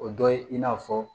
O dɔ ye i n'a fɔ